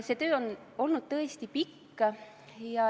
See töö on olnud tõesti pikk.